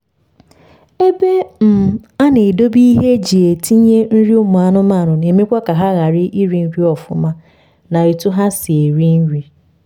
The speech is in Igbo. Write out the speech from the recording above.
ebe um a na edobe ihe eji etinye nri ụmụ anụmanụ na emekwa ka ha ghara iri nri ọfụma na otu ha si eri nri